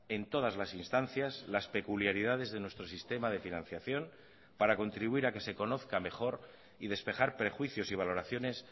en todas las instancias las peculiaridades de nuestro sistema de financiación para contribuir a que se conozca mejor y despejar prejuicios y valoraciones